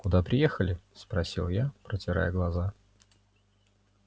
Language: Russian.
куда приехали спросил я протирая глаза